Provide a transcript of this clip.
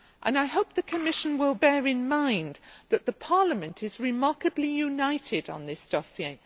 I hope the Commission will bear in mind that Parliament is remarkably united on this dossier.